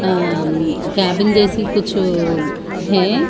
अं cabin जैसी कुछ है।